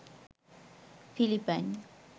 Philippine